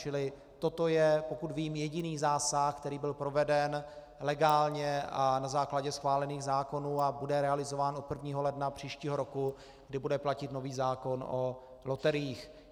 Čili toto je, pokud vím, jediný zásah, který byl proveden legálně a na základě schválených zákonů a bude realizován od 1. ledna příštího roku, kdy bude platit nový zákon o loteriích.